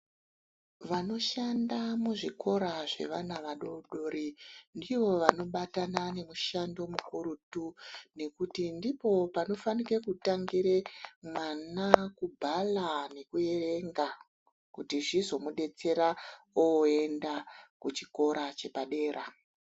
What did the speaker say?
Vanoshanda muzvikora zvevana adodori ndivo vanobatana nemushando mukurutu. Ngekuti ndipo panofanire kutangira mwana kubhala nekuerenga. Kuti zvizomudetsera oenda kuchikora chepadera.